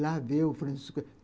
Lá vê o Francisco.